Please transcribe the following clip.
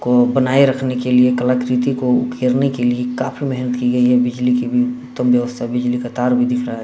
को बनाए रखने के लिए कलाकृति को खेरने के लिए काफी मेहनत की गई है बिजली की भी उत्तम व्यवस्था बिजली का तार भी दिख रहा है।